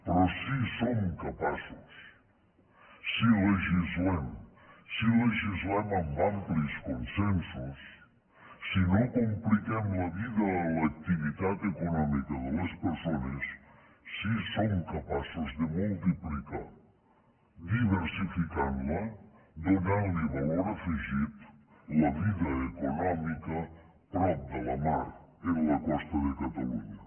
però sí que som capaços si legislem si legislem amb amplis consensos si no compliquem la vida a l’activitat econòmica de les persones sí que som capaços de multiplicar diversificant la donant li valor afegit la vida econòmica prop de la mar en la costa de catalunya